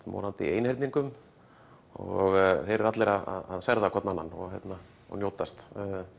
morandi í einhyrningum og þeir eru allir að hvorn annan og hérna njótast